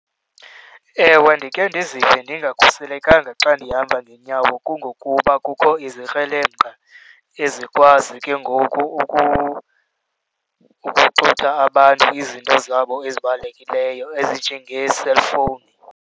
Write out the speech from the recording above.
Ewe, ndikhe ndizive ndingakhuselekanga xa ndihamba ngeenyawo kungokuba kukho izikrelemnqa ezikwazi ke ngoku ukuxutha abantu izinto zabo ezibalulekileyo ezinjengee-cellphone.